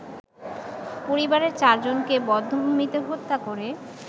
পরিবারের চারজনকে বধ্যভূমিতে হত্যা করে